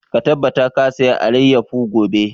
Ka tabbata ka saya alayyafo gobe!